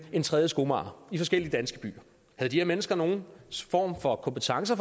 en tredje skomager i forskellige danske byer havde de her mennesker nogen form for kompetence